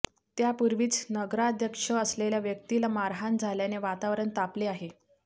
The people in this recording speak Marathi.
त्यापूर्वीच नगराध्यक्ष असलेल्या व्यक्तीला मारहाण झाल्याने वातावरण तापले आहे